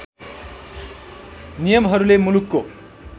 नियमहरूले मुलुकको